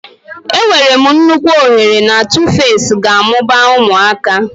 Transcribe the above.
Enwere m nnukwu ohere na Tuface ga-amụba ụmụaka.